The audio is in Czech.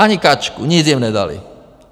Ani kačku, nic jim nedali!